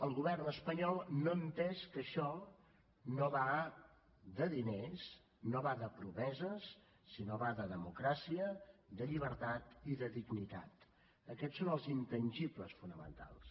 el govern espanyol no ha entès que això no va de diners no va de promeses sinó que va de democràcia de llibertat i de dignitat aquests són els intangibles fonamentals